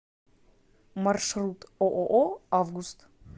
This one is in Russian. маршрут ооо август